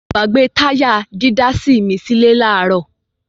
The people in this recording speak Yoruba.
Mo gbàbe táyà dídásí mi sílẹ́ ní àárọ̀.